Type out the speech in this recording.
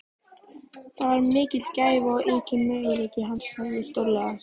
Það var mikil gæfa og yki möguleika hans sjálfs stórlega.